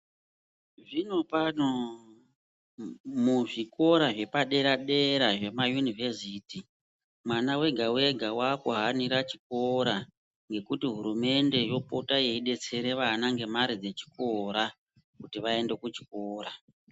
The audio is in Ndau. Zvinopano muzvikora zvepadere dera zvemayunivhesiti, mwana wega wega waakuhanira chikora ngekuti hurumende yopota yeidetsera vana ngemare dzechikora kuti vaende kuchikora.